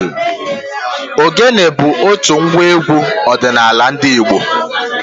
Ògénė bụ otu ngwa égwú ọdịnala ndị Igbo.